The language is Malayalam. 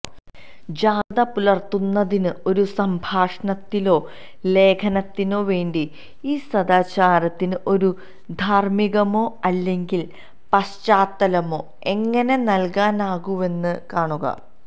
ജാഗ്രത പുലർത്തുന്നതിന് ഒരു സംഭാഷണത്തിലോ ലേഖനത്തിനോ വേണ്ടി ഈ സദാചാരത്തിന് ഒരു ധാർമ്മികമോ അല്ലെങ്കിൽ പശ്ചാത്തലമോ എങ്ങനെ നൽകാനാകുന്നുവെന്ന് കാണുക